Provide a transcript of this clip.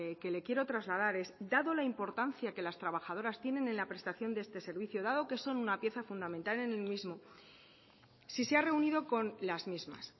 que le quiero trasladar es dado la importancia que las trabajadoras tienen en la prestación de este servicio dado que son una pieza fundamental en el mismo si se ha reunido con las mismas